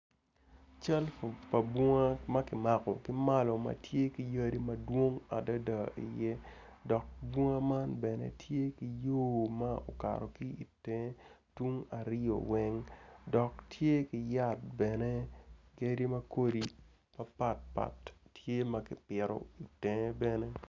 Cal puk pa bunga makimako kimalo matye ki yadi madwong adada iye dok bunga man bene tye ki yo ma okato ki i tenge tunga aryo weng dok tye ki yat bene yadi ma kodi mapat pat tye makipito tenge bene.